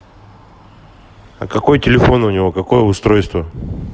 а какой телефон у него какое устройство